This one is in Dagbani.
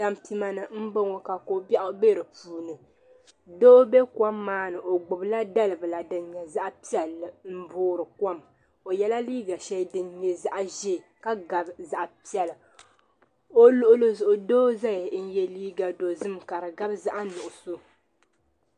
Tampima ni m boŋɔ ka kobiaɣu be di puuni doo be kom maa ni o gbibi la dalibila din nyɛ zaɣa piɛlli m boori kom o yela liiga sheli din nyɛ zaɣa ʒee ka gabi zaɣa piɛla o luɣuli zuɣu doo zaya n ye liiga dozim ka di gabi zaɣa nuɣuso.